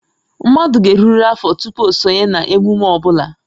Mmadụ ga-erurịrị afọ tupu o sonye na emume ọ bụla